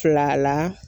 Fila la